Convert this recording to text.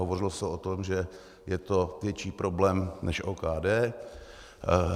Hovořilo se o tom, že je to větší problém než OKD.